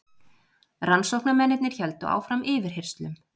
Rannsóknarmennirnir héldu áfram yfirheyrslum.